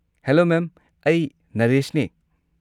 Hello ma'am, ꯑꯩ ꯅꯔꯦꯁꯅꯦ꯫